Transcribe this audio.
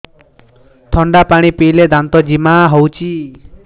ଥଣ୍ଡା ପାଣି ପିଇଲେ ଦାନ୍ତ ଜିମା ହଉଚି